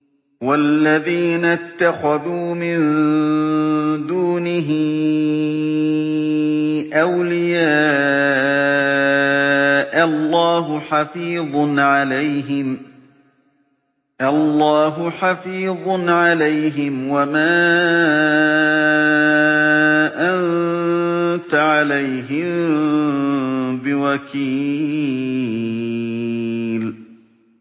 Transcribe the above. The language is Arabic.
وَالَّذِينَ اتَّخَذُوا مِن دُونِهِ أَوْلِيَاءَ اللَّهُ حَفِيظٌ عَلَيْهِمْ وَمَا أَنتَ عَلَيْهِم بِوَكِيلٍ